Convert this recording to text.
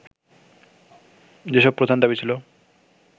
যেসব প্রধান দাবি ছিল